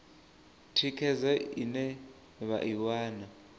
thikhedzo ine vha i wana